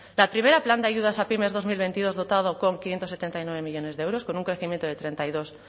la primera plan de ayudas a pymes dos mil veintidós dotado con quinientos setenta y nueve millónes de euros con un crecimiento de treinta y dos